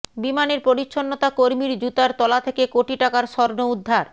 বিমানের পরিচ্ছন্নতা কর্মীর জুতার তলা থেকে কোটি টাকার স্বর্ণ উদ্ধার